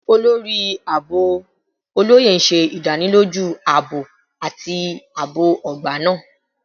Olori Aabo Oloye ṣe idaniloju aabo ati aabo ogba naa